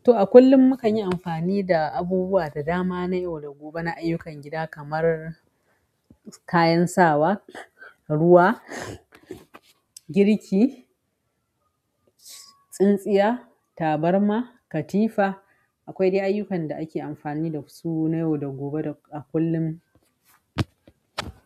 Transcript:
To a kullum mukanyi amfani da abubuwa da dama na yau da gobe na ayyukan gida kamar kayan sawa, ruwa, girki, tsintsiya, tabarma, katifa akwai dai ayyukan da ake amfani da su na yau da gobe a kullum.